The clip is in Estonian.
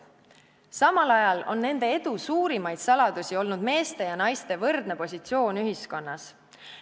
Samal ajal on nende edu suurimaid saladusi olnud meeste ja naiste võrdne positsioon ühiskonnas.